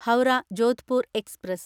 Howrah Jodhpur express